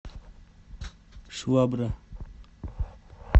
швабра